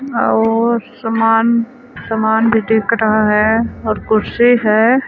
अउ बहुत मन समान भी दिख रहा हे और कुर्सी है।